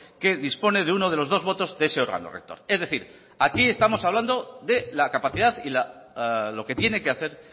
que dispone de uno de los dos votos de ese órgano rector es decir aquí estamos hablando de la capacidad y lo que tiene que hacer